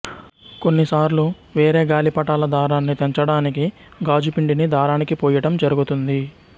కొన్నిసార్లు వేరే గాలిపటాల దారాన్ని తెంచటానికి గాజుపిండిని దారానికి పూయటం జరుగుతుంది